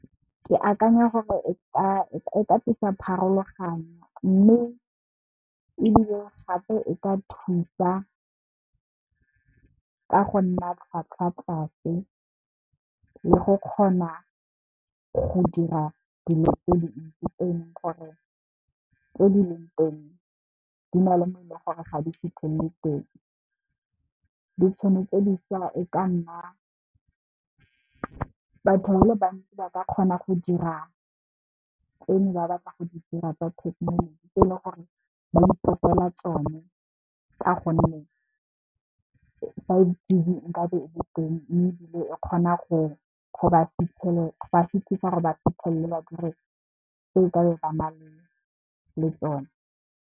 Ke akanya gore e ka tlisa pharologanyo mme, ebile gape e ka thusa ka go nna tlhwatlhwa tlase, le go kgona go dira dilo tse dintsi tse di leng teng, di na le mo leng gore ga di fitlhelele teng. Batho ba le bantsi ba ka kgona go dira tse ne ba batla go di dira ka thekenoloji tse le gore ba itlhopela tsone ka gonne di le teng mme ebile e kgona go ba fitlhisa gore ba fitlhelele ba dire tse le tsone.